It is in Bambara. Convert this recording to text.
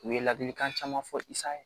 U ye ladilikan caman fɔ i sa ye